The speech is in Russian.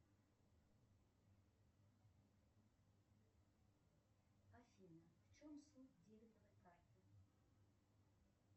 афина в чем суть дебетовой карты